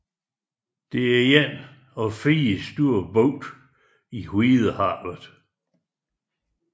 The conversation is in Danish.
Det er en af fire store bugte i Hvidehavet